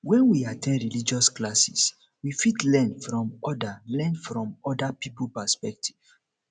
when we at ten d religious classes we fit learn from oda learn from oda pipo perspective